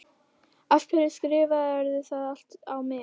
Af hverju skrifarðu það allt á mig?